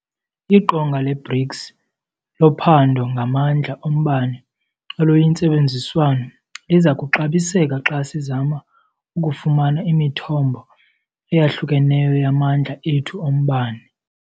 IQonga le-BRICS loPhando ngaMandla oMbane oluyiNtsebenziswano liza kuxabiseka xa sizama ukufumana imithombo eyahlukeneyo yamandla ethu ombane.